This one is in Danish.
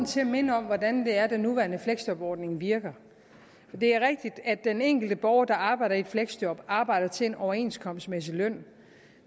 til at minde om hvordan det er at den nuværende fleksjobordning virker for det er rigtigt at den enkelte borger der arbejder i fleksjob arbejder til en overenskomstmæssig løn